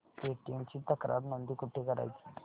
Paytm ची तक्रार नोंदणी कुठे करायची